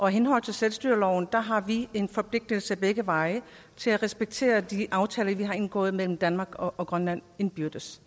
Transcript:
henhold til selvstyreloven har vi en forpligtelse begge veje til at respektere de aftaler vi har indgået mellem danmark og grønland indbyrdes